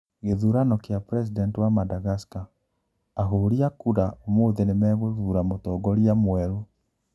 Githurano kia President wa Madagascar:Ahũri aakura ũmũthĩ nimegũthura mũtũngoria mwerũ